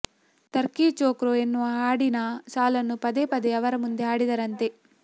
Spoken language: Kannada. ಥರ್ಕಿ ಚೋಕ್ರೋ ಎನ್ನುವ ಹಾಡಿನ ಸಾಲನ್ನು ಪದೇ ಪದೇ ಅವರ ಮುಂದೆ ಹಾಡಿದರಂತೆ